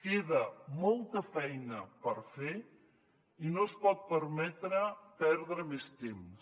queda molta feina per fer i no es pot permetre perdre més temps